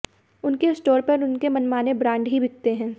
उनके स्टोर पर उनके मनमाने ब्रांड ही बिकते हैं